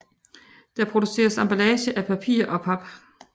Der produceres emballage af papir og pap